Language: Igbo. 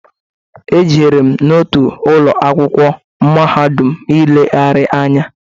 Ejere ma n'otu ụlọakwụkwọ mahadụm i legharị anya.